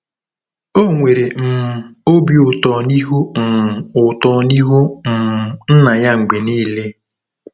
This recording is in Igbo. O nwere um obi ụtọ n'ihu um ụtọ n'ihu um Nna ya mgbe niile.